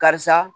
Karisa